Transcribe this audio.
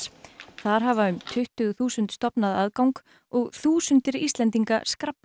þar hafa um tuttugu þúsund stofnað aðgang og þúsundir Íslendinga